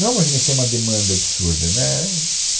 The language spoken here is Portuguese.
Não é uma avenida que tem uma demanda absurda. né, é